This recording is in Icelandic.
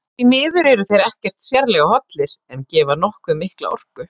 Því miður eru þeir ekkert sérlega hollir en gefa nokkuð mikla orku.